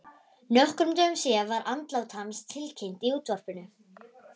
Nokkrum dögum síðar var andlát hans tilkynnt í útvarpinu.